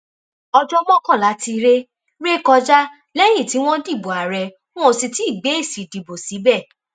ọjọ mọkànlá ti ré ré kọjá lẹyìn tí wọn dìbò ààrẹ wọn ò sì tì í gbé èsì ìdìbò síbẹ